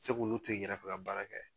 se k'u to i kɛrɛfɛ ka baara kɛ